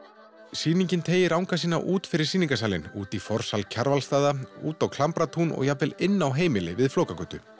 sýningin teygir anga sína út fyrir sýningarsalinn út í forsal Kjarvalsstaða út á og jafnvel inn á heimili við Flókagötu